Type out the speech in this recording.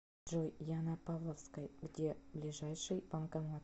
джой я на павловской где ближайший банкомат